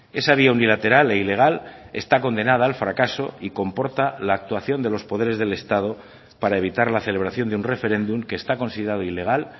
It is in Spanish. esa vía unilateral e ilegal está condenada al fracaso y comporta la actuación de los poderes del estado para evitar la celebración de un referéndum que está considerado ilegal